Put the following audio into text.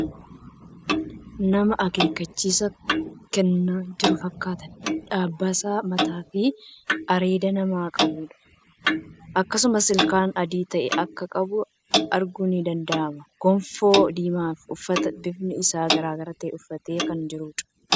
Nama akeekkachiisa kennaa jiru fakkaata. Dabbasaa mataa fii areeda nama qabuudha. Akkasumas ilkaan adii ta'e akka qabu arguun ni danda'ama. Goffoo diimaa fi uffata bifni isaa garagara ta'e uffatee kan jiruudha.